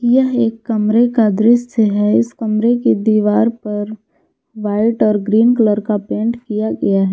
यह एक कमरे का दृश्य है इस कमरे की दीवार पर व्हाइट और ग्रीन कलर का पेंट किया गया है।